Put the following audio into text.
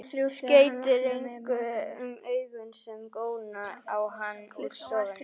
Skeytir engu um augu sem góna á hann úr stofunni.